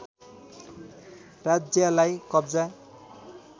राज्यालाई कब्जा